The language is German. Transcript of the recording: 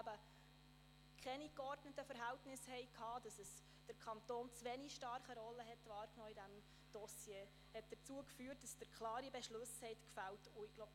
– Wir hatten keine geordneten Verhältnisse, und der Kanton hatte in diesem Dossier eine zu wenig starke Rolle wahrgenommen, was dazu führte, dass Sie klare Beschlüsse gefällt haben.